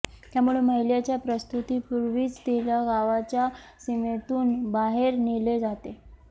त्यामुळे महिलेच्या प्रसूतीपूर्वीच तिला गावाच्या सीमेतून बाहेर नेले जाते